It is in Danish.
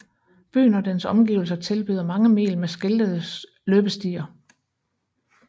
Byen og dens omgivelser tilbyder mange mil med skiltede løbestier